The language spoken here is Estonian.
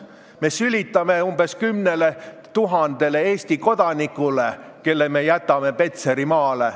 Me sülitame umbes 10 000 Eesti kodanikule, kelle me jätame Petserimaale.